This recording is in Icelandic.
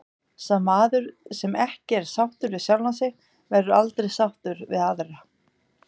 Sá maður sem ekki er sáttur við sjálfan sig verður aldrei sáttur við aðra.